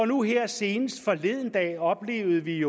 nu her senest forleden dag oplevede vi